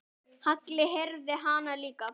Halli heyrði hana líka.